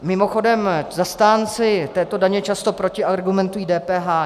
Mimochodem, zastánci této daně často protiargumentují DPH.